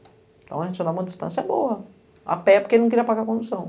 Então a gente andava a uma distância boa, a pé porque ele não queria apagar a condução.